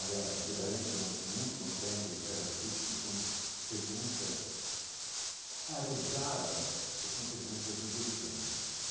Aliás, muito contente de estar aqui porque são perguntas arejadas, são perguntas inteligentes.